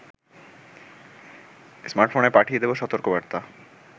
স্মার্টফোনে পাঠিয়ে দেবে সতর্কবার্তা